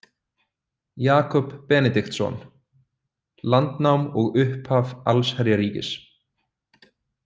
Jakob Benediktsson: Landnám og upphaf allsherjarríkis